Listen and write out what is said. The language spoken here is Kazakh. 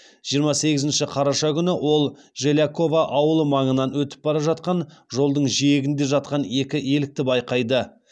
жиырма сегізінші қараша күні ол желяково ауылы маңынан өтіп бара жатқан жолдың жиегінде жатқан екі елікті байқайды